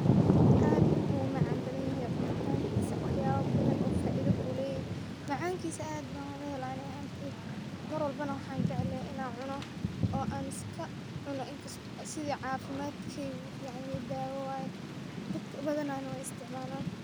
Aad ayu umacan badan yehe cunitankisa wx yabo badan ayu faido uleyehe mar walbo waxan jeclee in ad cuno oo cafimad ayau ufican yehe marka dad badi wey cunan.